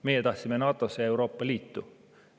Meie tahtsime NATO-sse ja Euroopa Liitu.